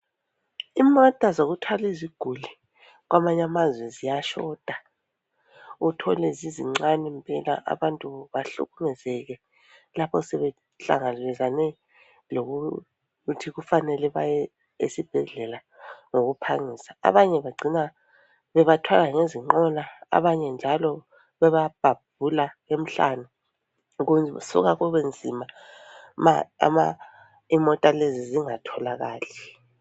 Imota zokuthwali ziguli kwamanye amazwe ziyashota uthole zizincani impela abantu bahlukumezeke lapho sebehlangabezane lokuthi kufanele baye esibhedlela ngokuphangisa. Abanye bagcina bebathwala ngezinqola ,abanye njalo bebabhabhula emhlane kusuka kube nzima ma ama imota lezi zingatholakali.